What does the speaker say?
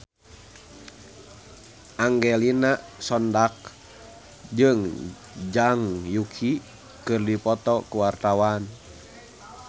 Angelina Sondakh jeung Zhang Yuqi keur dipoto ku wartawan